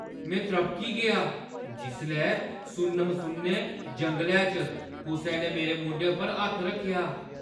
मैं त्रभकी गेआ जिसलै सुन्न-मसुन्ने जंगलै च कुसै ने मेरे मूंढे पर हत्थ रक्खेआ।